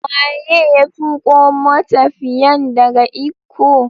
Waye ya tuko matafiyan daga Ikko?